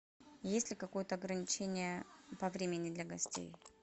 есть ли какое то ограничение по времени для гостей